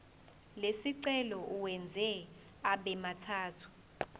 lesicelo uwenze abemathathu